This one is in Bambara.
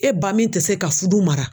E ba min tɛ se ka fudu mara.